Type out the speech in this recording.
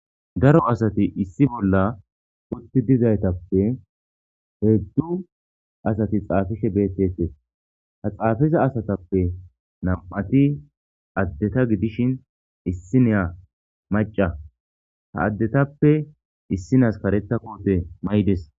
Daro asati issi bolla otti dizaytappe heeddu asati xaafishe bettete ha xaafiza asatappe nam'ati addeta gidishin issineya maca ha addetappe issinas karetta kote maydes.